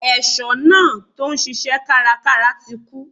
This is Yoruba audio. Ẹ̀ṣọ́ náà tí ó ń ṣisẹ́ kárakára ti kú.